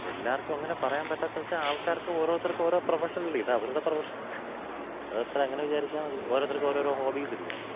എല്ലാർക്കും അങ്ങനെ പറയാൻ പറ്റാത്ത എന്ന് വെച്ച ആള്‍ക്കാര്‍ക്ക് ഓരോരുത്തർക്കും ഓരോ പ്രൊഫഷൻ ഇല്ലേ? ഇത് അവരുടെ പ്രൊഫഷൻ. അതത്ര അങ്ങനെ വിചാരിച്ചാൽ മതി. ഓരോരുത്തർക്കും ഓരോരോ ഹോബീസില്ലേ?